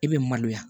I bɛ maloya